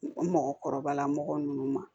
Mɔgɔkɔrɔba mɔgɔ ninnu ma